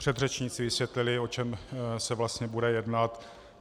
Předřečníci vysvětlili, o čem se vlastně bude jednat.